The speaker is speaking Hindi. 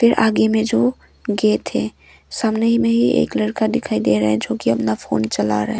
फिर आगे में जो गेट है सामने में ही एक लड़का दिखाई दे रहा है जो कि अपना फोन चला रहा--